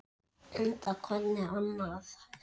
Enda hvernig annað hægt?